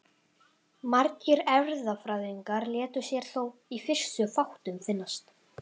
Margir erfðafræðingar létu sér þó í fyrstu fátt um finnast.